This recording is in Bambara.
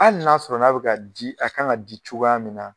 Ali n'a sɔrɔ n'a bɛ ka di a kan ŋa di cogoya min na